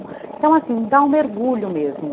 Então assim, dá um mergulho mesmo.